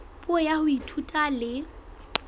puo ya ho ithuta le